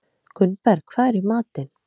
Gunnberg, hvað er í matinn?